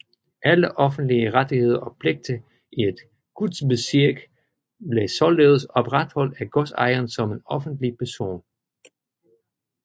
Alle offentlige rettigheder og pligter i et Gutsbezirk blev således opretholdt af godsejeren som en offentlig person